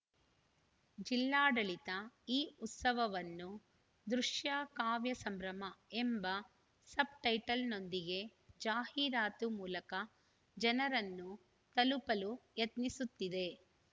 ಜಿಲ್ಲಾಡಳಿತ ಈ ಉತ್ಸವವನ್ನು ದೃಶ್ಯ ಕಾವ್ಯ ಸಂಭ್ರಮ ಎಂಬ ಸಬ್‌ಟೈಟಲ್‌ನೊಂದಿಗೆ ಜಾಹೀರಾತು ಮೂಲಕ ಜನರನ್ನು ತಲುಪಲು ಯತ್ನಿಸುತ್ತಿದೆ